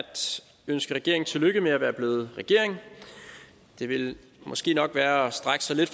ønske regeringen tillykke med at være blevet regering det ville måske nok være at strække sig lidt